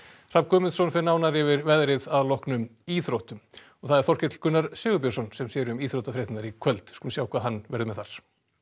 Hrafn Guðmundsson fer nánar yfir veðrið að loknum íþróttum og það er Þorkell Gunnar Sigurbjörnsson sem sér um íþróttafréttir í kvöld við skulum sjá hvað hann verður með þar